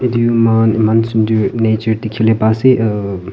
view eman sundor nature dikhiwoleh pa asey ummmm--